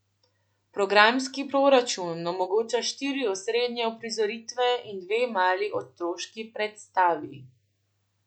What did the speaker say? Programski proračun omogoča štiri osrednje uprizoritve in dve mali otroški predstavi.